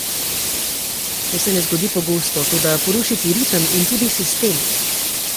To se ne zgodi pogosto, toda poruši ti ritem in tudi sistem.